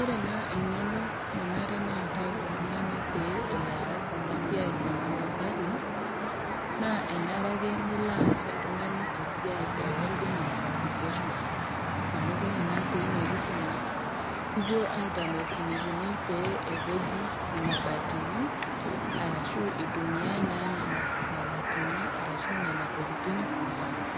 Ore naa eng'eno nanare pee eatau oltung'ani pee elo aas ena siai e Jua Kali, naa enare ake nilo aas oltung'ani esiai e welding and fabrication, amu ore naa teina kisuma, kipuoi aitamok eneikuni pee epeji, imabatini, arashu eitumiya naa nena mabatini arashu nena tokitin